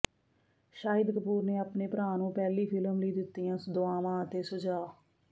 ਸ਼ਾਹਿਦ ਕਪੂਰ ਨੇ ਆਪਣੇ ਭਰਾ ਨੂੰ ਪਹਿਲੀ ਫ਼ਿਲਮ ਲਈ ਦਿੱਤੀਆਂ ਦੁਆਵਾਂ ਅਤੇ ਸੁਝਾਅ